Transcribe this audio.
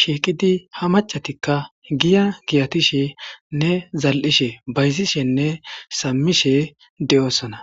sheeqidi ha macatikka giya giyatishenne zal7ishe bayzishenne saamishe de7osana